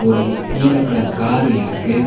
ஒரு நீல colour car இருக்கு.